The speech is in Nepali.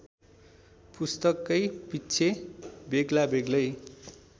पुस्तकैपिच्छे बेग्लाबेग्लै